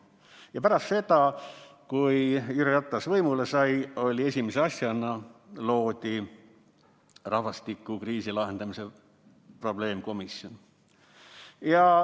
Ja pärast seda, kui Jüri Ratas võimule sai, esimese asjana loodi rahvastikukriisi lahendamise probleemkomisjon.